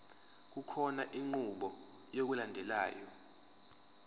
kukhona inqubo yokulandelayo